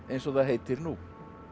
eins og það heitir nú